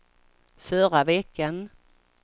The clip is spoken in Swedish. förra veckan